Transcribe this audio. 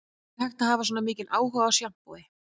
Er hægt að hafa svona mikinn áhuga á sjampói